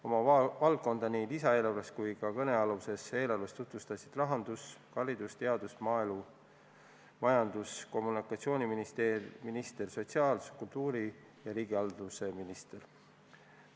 Oma valdkonna muudatusi seoses lisaeelarve ja ka kõnealuse eelnõuga tutvustasid rahandus-, haridus- ja teadus-, maaelu-, majandus- ja kommunikatsiooni-, sotsiaal-, kultuuri- ning riigihalduse minister.